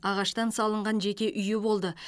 ағаштан салынған жеке үйі болды